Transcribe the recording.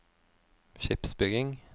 skipsbygging